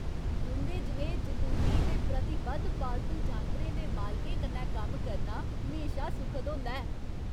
तुं'दे जनेहे जुनूनी ते प्रतिबद्ध पालतू जानवरें दे मालकें कन्नै कम्म करना म्हेशा सुखद होंदा ऐ।